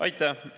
Aitäh!